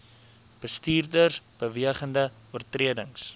bestuurders bewegende oortredings